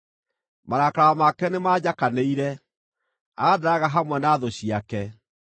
Marakara make nĩmanjakanĩire; andaraga hamwe na thũ ciake.